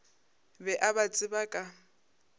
be a ba tseba ka